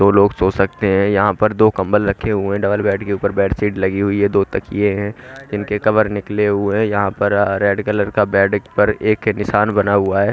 दो लोग सो सकते है यहां पर दो कंबल रखे हुए है डबल बेड के ऊपर बेडशीट लगी हुई है दो तकिये है जिनके कवर निकले हुए है यहां पर अ रेड कलर का बेड एक पर एक किसान बना हुआ है।